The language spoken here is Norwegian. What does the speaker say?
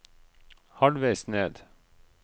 halvveis ned